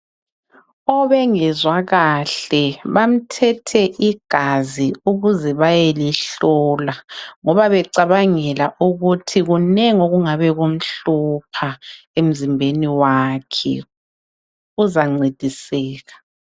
Obengezwa kahle bamthethe igazi ukuze bayelihlola ,ngoba becabangela ukuthi kunengi okungabe kumhlupha emzimbeni wakhe uzancediseka.